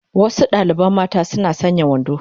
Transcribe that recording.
Wasu dalibai mata suna sanya wando